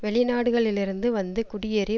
வெளிநாடுகளிலிருந்து வந்து குடியேறி